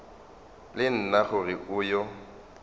le nna gore o yo